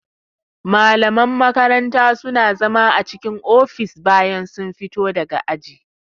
Malaman makaranta suna zama a cikin ofis bayan sun fito daga aji